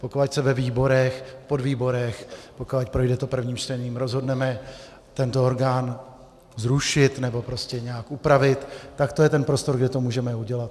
Pokud se ve výborech, podvýborech, pokud projde to prvním čtením, rozhodneme tento orgán zrušit nebo prostě nějak upravit, tak to je ten prostor, kde to můžeme udělat.